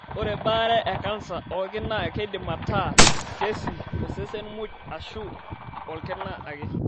Ore baare e kansa oolki naa keidim ataa keesi to sesen muj aashu olkina ake.